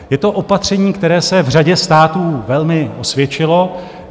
Je to opatření, které se v řadě států velmi osvědčilo.